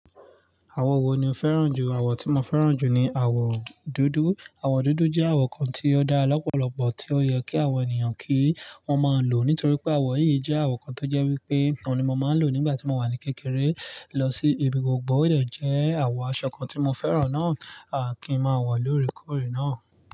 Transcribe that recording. Àwọ̀ wo ni o fẹ́ràn jù? Àwọ̀ tí mo fẹ́ràn jù ni àwọ̀ dúdú. Àwọ̀ dúdú jẹ́ àwọ̀ kan tí ó dá lọ́pọ̀lọpọ̀ tí ó yẹ kí àwọn ènìyàn kí wọ́n máa lò nítorí pé àwọ̀ yìí jẹ́ àwọ̀ kan tó jẹ́ wípé òun ni mo máa ń lò nígbà tí mo wà ní kékeré lọ sí èbí gbogbo. Ó dẹ jẹ́ àwọ̀ aṣọ kan tí mo fẹ́ràn náà, à kí n máa wà lóre kọ̀re náà.